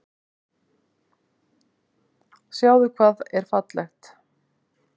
Sjáðu hvað er fallegt.